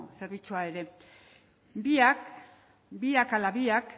zerbitzua ere biak biak ala biak